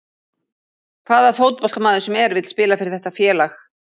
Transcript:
Hvaða fótboltamaður sem er vill spila fyrir þetta félag.